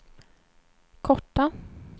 korta